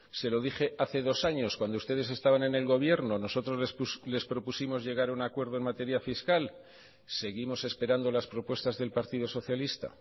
se lo dije hace dos años cuando ustedes estaban en el gobierno nosotros les propusimos llegar a un acuerdo en materia fiscal seguimos esperando las propuestas del partido socialista